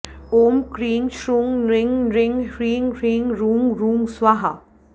ॐ क्रीं छ्रुं नृं नृं ह्रीं ह्रीं रुं रुं स्वाहा